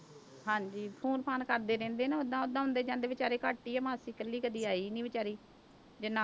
ਹਾਂਜੀ phone ਫ਼ਾਨ ਕਰਦੇ ਰਹਿੰਦੇ ਨੇ ਓਦਾਂ ਓਦਾਂ ਆਉਂਦੇ ਜਾਂਦੇ ਬੇਚਾਰੇ ਘੱਟ ਹੀ ਹੈ ਮਾਸੀ ਇਕੱਲੀ ਕਦੇ ਆਈ ਨੀ ਵਿਚਾਰੀ ਜੇ ਨਾ